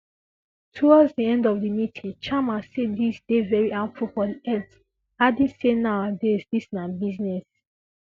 towards di end of di meeting sharma say dis dey very harmful for di health adding say nowadays dis na business